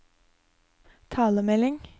talemelding